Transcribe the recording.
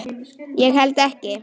Ég held ekki.